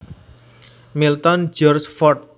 Milton George Fort